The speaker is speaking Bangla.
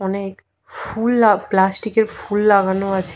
অনেক ফুল আ প্লাস্টিক -এর ফুল লাগানো আছে।